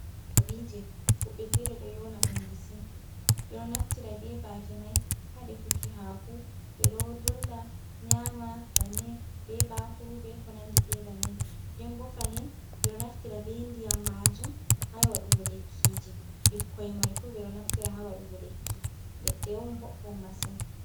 kabije. Wobbe fere do nyona dum bisi .be do naftira be bafe mai ha de fuki hako, be do dolla nyama bannin, be bakuru ,be konandi be bannin den bo fahin be do naftira be ndiyam majum ha y wadugo lekkiji, bikkoi mai fu bedo naftira ha wadugo lekki. ledde on boɗdum masin.